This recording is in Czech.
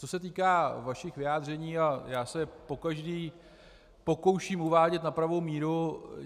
Co se týká vašich vyjádření, já se je pokaždé pokouším uvádět na pravou míru.